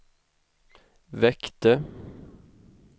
väckte